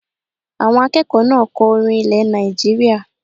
Àwọn akẹ́kọ̀ọ́ náà kọ orin ilẹ̀ Nàìjíríyà